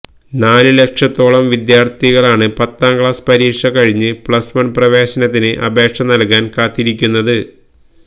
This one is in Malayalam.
നാലുലക്ഷത്തോളം വിദ്യാര്ത്ഥികളാണ് പത്താം ക്ലാസ് പരീക്ഷ കഴിഞ്ഞ് പ്ലസ് വണ് പ്രവേശനത്തിന് അപേക്ഷ നല്കാന് കാത്തിരിക്കുന്നത്